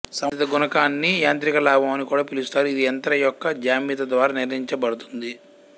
సంబంధిత గుణకాన్ని యాంత్రిక లాభం అని కూడా పిలుస్తారు ఇది యంత్రం యొక్క జ్యామితి ద్వారా నిర్ణయించబడుతుంది